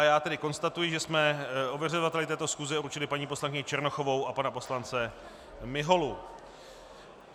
A já tedy konstatuji, že jsme ověřovateli této schůze určili paní poslankyni Černochovou a pana poslance Miholu.